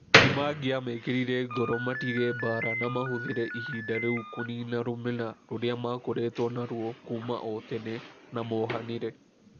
Nĩ mangĩamekĩrire ngoro matige mbaara na mahũthĩre ihinda rĩu kũniina rũmena rũrĩa makoretwo narĩo kuuma o tene na mohanĩre.